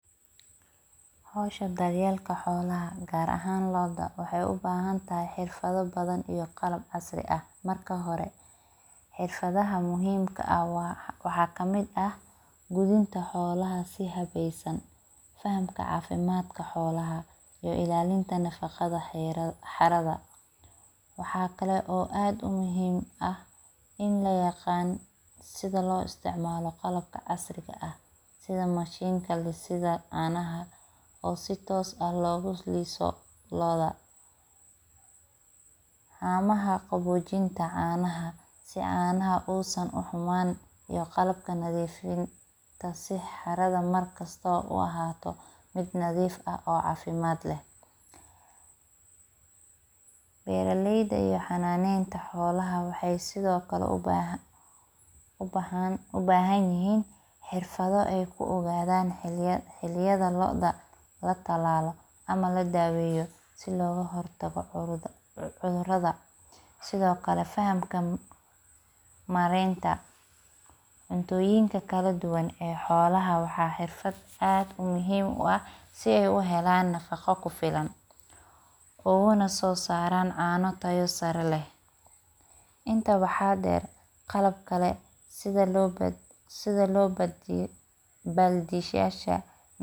Howsha dar yeelka xolaha waxeey ubahan tahay xirafada badan, xirfadaha muhiimka ah waxa kamid ah gudinta xolaha, fahamka cafimaadka xoolaha iyo ilaalinta xerada xolaha, waxa kale oo muhiim ah sida loo isticmaala qalabka casriga ah, hamaha qabojinta xolaha, iyo qalabka nadiifinta, beeraleyda waxeey sido kale ubahan yihiin xirfado aay ku ogadan xiliyada ladaweeyo, cuntooyinka kala duban ee xolaha uguna soo saaran cana tayo leh sida baldiyasha.